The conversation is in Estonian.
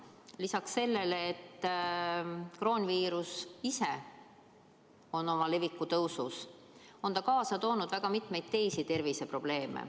Lisaks sellele, et kroonviirus ise on oma leviku tõusufaasis, on ta kaasa toonud väga mitmeid teisi terviseprobleeme.